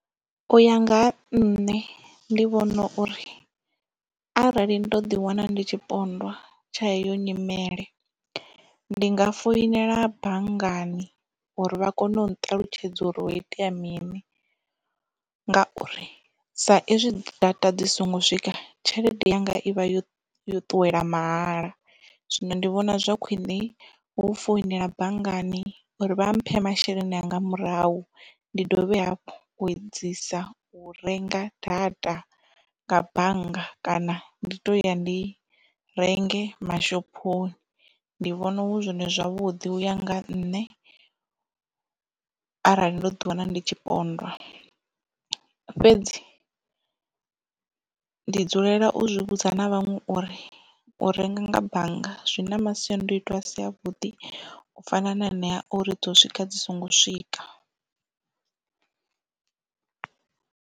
U ya nga ha nṋe ndi vhona uri arali ndo ḓi wana ndi tshipondwa tsha heyo nyimele ndi nga foinela banngani uri vha kone u nṱalutshedza uri ho itea mini, ngauri sa ezwi data dzi songo swika tshelede yanga ivha yo yo ṱuwela mahala zwino ndi vhona zwa khwiṋe u founela banngani uri vha mphe masheleni anga murahu ndi dovhe hafhu u edzisa u renga data nga bannga kana ndi to ya ndi renge mashophoni. Ndi vhona hu zwone zwavhuḓi u ya nga nṋe arali ndo ḓi wana ndi tshipondwa fhedzi ndi dzulela u zwi vhudza na vhaṅwe uri u renga nga bannga zwi na masiandoitwa a si a vhuḓi u fana na anea a uri dzo swika dzi songo swika.